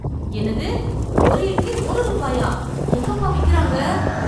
என்னது, ஒரு இட்லி ஒரு ரூபாயா? எங்கப்பா விக்கறாங்க?